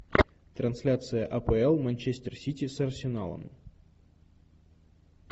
трансляция апл манчестер сити с арсеналом